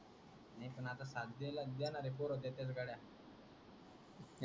साथ देणार देणारे पोर देतेत गड्या ,